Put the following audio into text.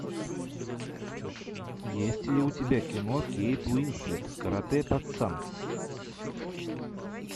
есть ли у тебя кино кейт уинслет карате пацан